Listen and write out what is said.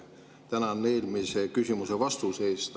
Tänan eelmise küsimuse vastuse eest.